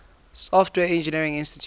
software engineering institute